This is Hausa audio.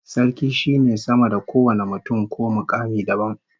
Sarki shine sama da kowane mutum ko mukami dabam